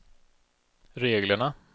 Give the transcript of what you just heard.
reglerna